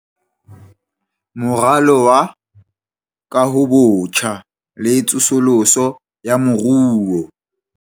Moralo wa Kahobotjha le Tsosoloso ya Moruo.